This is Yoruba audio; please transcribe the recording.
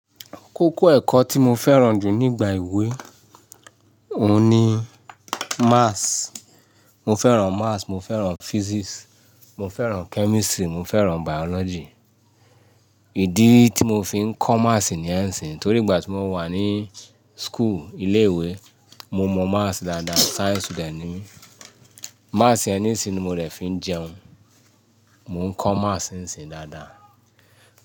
Kókó ẹ̀kọ́ tí mo fẹ́ràn jù nígbà ewé, òun ni Maths. Mo fẹ́ràn Maths, mo fẹ́ràn Physics, mo fẹ́ràn Chemistry, mo fẹ́ràn Biology. Ìdí tí mo fi ń kọ́ Maths níyen ṣín torí ìgbà tí mo wà ní school, ilé ìwé, mo mọ Maths dáadáa. Science student ní mi. Maths yẹn nisíni ni mo de fi ń jẹun. Mò ń kọ́ Maths nsín dáadáa.